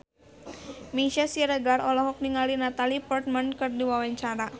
Meisya Siregar olohok ningali Natalie Portman keur diwawancara